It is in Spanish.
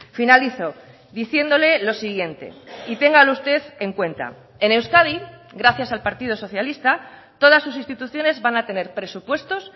finalizo diciéndole lo siguiente y téngalo usted en cuenta en euskadi gracias al partido socialista todas sus instituciones van a tener presupuestos